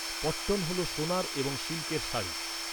পট্টন হল সোনার এবং সিল্কের শাড়ি।